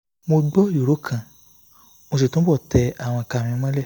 mo gbọ́ ìró kan mo sì túbọ̀ tẹ àwọn ìka mi mọ́lẹ̀